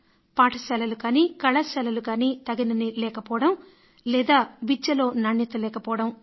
పాఠశాలలు గానీ కళాశాలలు గానీ తగినన్ని లేకపోవడం లేదా ఇంకా విద్య నాణ్యత లేకపోవడం